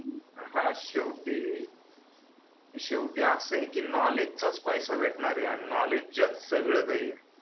हा शेवटी शेवटी अस आहे की नॉलेज चा पैसा भेटणार आहे आणि नॉलेजच्या सगळं काही आहे